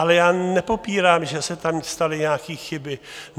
Ale já nepopírám, že se tam staly nějaké chyby.